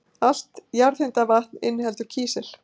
Allt jarðhitavatn inniheldur kísil.